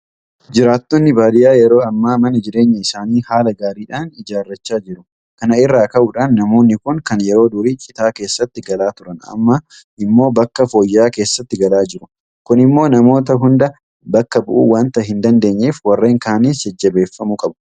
Jiraattonni baadiyyaa yeroo ammaa mana jireenyaa isaanii haala gaariidhaan ijaarrachaa jiru. Kana irraa ka'uudhaan namoonni kun kan yeroo durii Citaa keessatti galaa turan; amma immoo bakka fooyya'aa keessatti galaa jiru. Kun immoo namoota hunda bakka bu'uu waanta hin dandeenyeef warreen kaanis jajjabeeffamuu qabu.